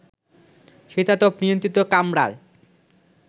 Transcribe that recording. শীতাতপ নিয়ন্ত্রিত কামরায়